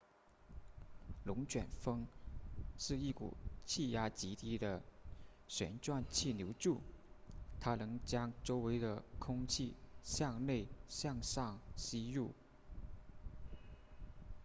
龙卷风是一股气压极低的旋转气流柱它能将周围的空气向内向上吸入